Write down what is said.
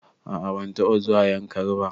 A a ban taɓa zuwa Yankari ba.